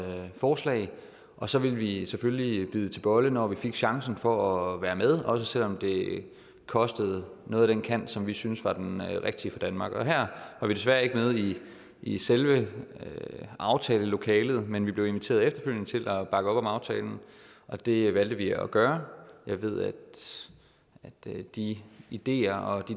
forslag og så ville vi selvfølgelig bide til bolle når vi fik chancen for at være med også selv om det kostede noget af den kant som vi syntes var den rigtige for danmark og her var vi desværre ikke med i i selve aftalelokalet men vi blev efterfølgende inviteret med til at bakke op om aftalen det valgte vi at gøre ved at de ideer og